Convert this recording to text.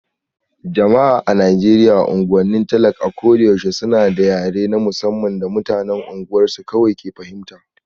Jama'a a Najeriya unguwannin talak a ko da yaushe suna da yare na musamman da mutanen unguwarsu kawai ke fahimta